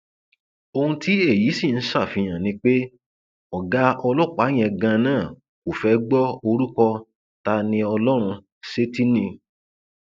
ohun tí èyí sì ń ṣàfihàn ni pé ọgá ọlọpàá yẹn ganan kò fẹẹ gbọ orúkọ tániọlọrun sétí ni